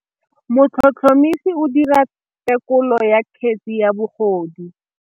Motlhotlhomisi o dira têkolô ya kgetse ya bogodu.